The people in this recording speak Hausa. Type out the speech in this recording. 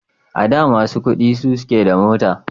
A da masu kudi sosai suke da mota